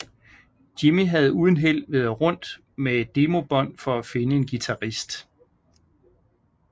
Jimmy havde uden held været rundt med et demobånd for at finde en guitarist